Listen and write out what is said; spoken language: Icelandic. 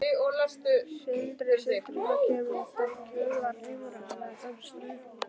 Sindri Sindrason: Kemur þetta í kjölfar umræðunnar um Straum?